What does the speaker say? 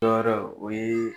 Tɔɔrɔ o yee